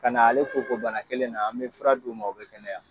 Ka na ale koko bana kelen na an bɛ fura di u ma u bɛ kɛnɛya.